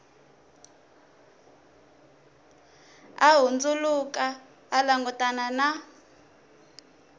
a hundzuluka a langutana na